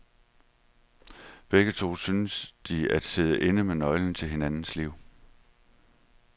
Begge to synes de at sidde inde med nøglen til hinandens liv.